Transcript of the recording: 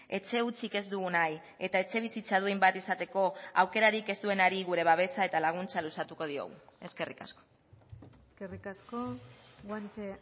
etxe hutsik ez dugu nahi eta etxebizitza duin bat izateko aukerarik ez duenari gure babesa eta laguntza luzatuko diogu eskerrik asko eskerrik asko guanche